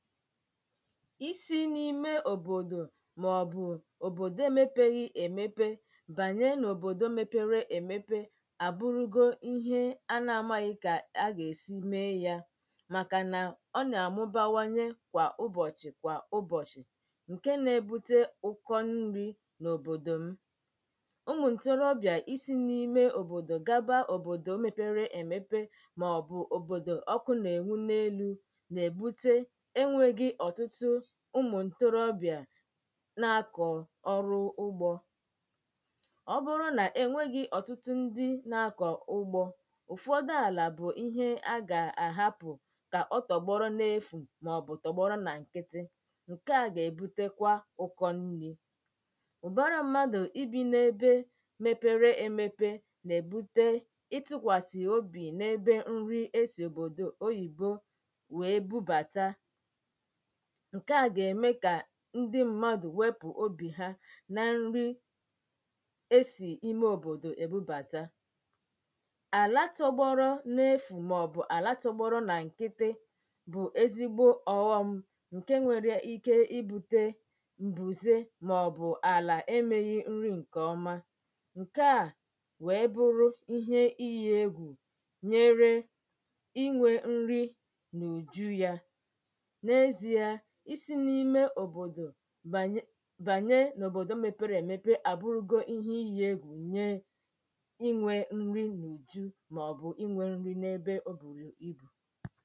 isi n’ime òbòdò màọbụ̀ Òbòdò emēpeghi èmepe bànye n’Òbòdò mepere èmepe àbụrụgo ihe à nà-amāghị̀ ka à gà-èsi mee ya màkà nà ọ na-àmụbawanye kwa ụbọ̀chị̀ kwa ụbọ̀chị̀ ǹkè nà-ebute ụ̀kọ nri n’Òbòdò m̀ ụmụ̀ ǹtorobị̀a isī n’ime òbòdò gaba òbòdò mepere èmepe màọbụ̀ òbòdò ọkụ nà-ènwu n’elū nà-èbute enwēghì ọ̀tụtụ ụmụ̀ ǹtorobịà nà-akọ̀ ọrụ ugbō ọ bụrụ nà-ènweghī ọ̀tụtụ ndi nà-akọ̀ ugbō ụ̀fọdụ àlà bụ̀ ihe a gà-àhapụ̀ kà ọtọgbọrọ n’efù màọbụ̀ tọgbọrọ nà ǹkịtị ǹkè a nà-èbutekwa ụ̀kọ nri ụ̀bara mmadụ̀ i bī na-ebe mepere emepe nà-èbute ịtụ̄kwàsị̀ obì n’ebe e sì òbòdò òyìbo wee bubàta ǹkè a gà-ème kà ndi mmadụ̀ wepù obì ha na nri e sì n’ime òbòdò èbubàta àlà tọgbọrọ n’efù màọbụ̀ àlà tọgbọrọ nà ǹkịtị bụ̀ ezigbo ọ̀ghọm ǹke nwere ike ibūtē m̀bùze màọbụ̀ àlà emēghī nri ǹkèọma ǹkè a wee bụrụ iyē egwù nyere nyere inwē nri n’ùju ya n’ezīa i sī n’ime òbòdò bànye n’òbòdò mepere èmepe àbụrụgo ihe iyē egwù nye inwē nri n’ùju maọ̀bụ̀ inwē nri n’ebe o bùrù ibù